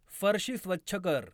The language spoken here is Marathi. फरशी स्वच्छ कर.